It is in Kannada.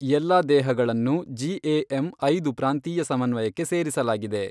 ಎಲ್ಲಾ ದೇಹಗಳನ್ನು ಜಿಏಎಮ್ ಐದು ಪ್ರಾಂತೀಯ ಸಮನ್ವಯಕ್ಕೆ ಸೇರಿಸಲಾಗಿದೆ.